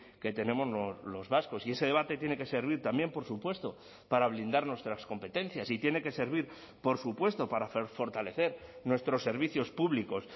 que tenemos los vascos y ese debate tiene que servir también por supuesto para blindar nuestras competencias y tiene que servir por supuesto para hacer fortalecer nuestros servicios públicos